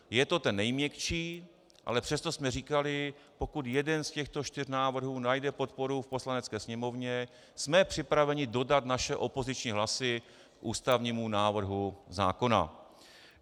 Je to ten nejměkčí, ale přesto jsme říkali, pokud jeden z těchto čtyř návrhů najde podporu v Poslanecké sněmovně, jsme připraveni dodat své opoziční hlasy ústavnímu návrhu zákona.